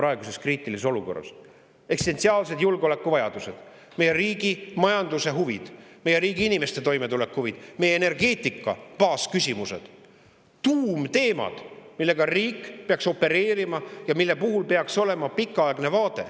Eksistentsiaalsed julgeolekuvajadused, meie riigi majanduse huvid, meie riigi inimeste toimetulek, meie energeetika baasküsimused on tuumteemad, millega riik peaks ja millel peaks olema pikaaegne vaade.